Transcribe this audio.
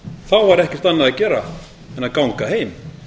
þá var ekkert annað að gera en að ganga heim